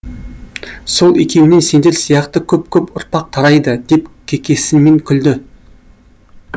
сол екеуінен сендер сияқты көп көп ұрпақ тарайды деп кекесінмен күлді